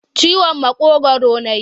Ciwon maƙogwaru na yi.